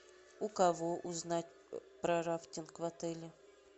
у кого узнать про рафтинг в отеле